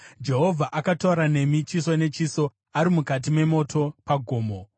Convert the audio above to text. Jehovha akataura nemi chiso nechiso ari mukati memoto pagomo.